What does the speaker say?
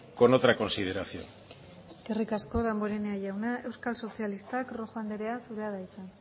con otra consideración eskerrik asko damborenea jauna euskal sozialistak rojo andrea zurea da hitza